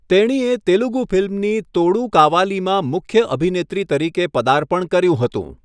તેણીએ તેલુગુ ફિલ્મ ની તોડુ કાવાલીમાં મુખ્ય અભિનેત્રી તરીકે પર્દાપણ કર્યું હતું.